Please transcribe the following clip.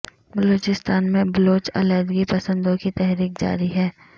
بلوچستان میں بلوچ علیحدگی پسندوں کی تحریک جاری ہے